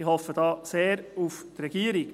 Ich hoffe da sehr auf die Regierung.